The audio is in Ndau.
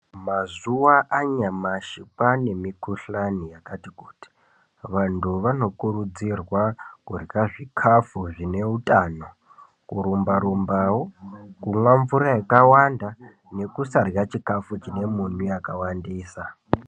Mazuva anyamashi kwane mikuhlani yakati kuti vantu vanokurudzirwa kurya zvikafu zvine utano. Kurumba-rumbavo kumwa mvura yakawanda nekusarya chikafu chine munyu yakawandisa.